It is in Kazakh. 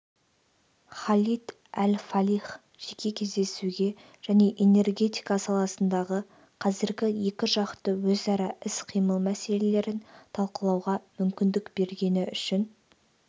халид әл-фалих жеке кездесуге және энергетика саласындағы қазіргі екіжақты өзара іс-қимыл мәселелерін талқылауға мүмкіндік бергені үшін